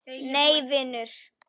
Nei vinur.